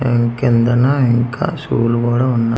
ఈ కిందన ఇంక షు లు కూడా ఉన్నా--